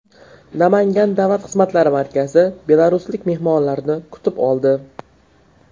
Namangan Davlat xizmatlari markazi belaruslik mehmonlarni kutib oldi.